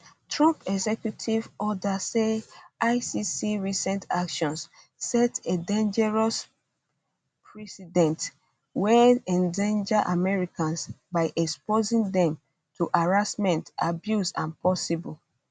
trump um executive order say icc recent actions set a dangerous precedent wey endanger americans by um exposing dem to harassment abuse and possible arrest